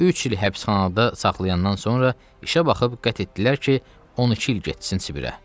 Üç il həbsxanada saxlayandan sonra işə baxıb qət etdilər ki, 12 il getsin Sibirə.